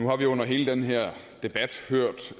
er ivrige i den her